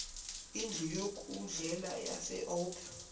indlu yokudlela yaseold